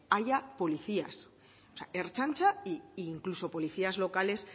haya policías i sea ertzaintza e incluso policías locales